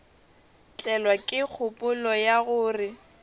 tlelwa ke kgopolo ya gore